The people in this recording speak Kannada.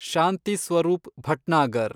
ಶಾಂತಿ ಸ್ವರೂಪ್ ಭಟ್ನಾಗರ್